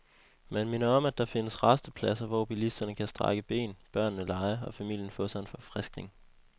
Man minder om, at der findes rastepladser, hvor bilisterne kan strække ben, børnene lege, og familien få sig en forfriskning.